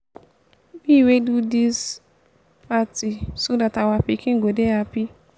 wey dey do dis party so dat our pikin go dey happy